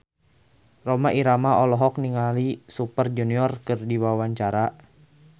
Rhoma Irama olohok ningali Super Junior keur diwawancara